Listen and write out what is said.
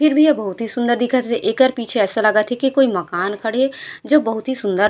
फिर भी एहा बहुत ही सुन्दर दिखत हे एकर पीछे ऐसा लगत हे की कोई मकान खड़े हे जो बहुत ही सुन्दर--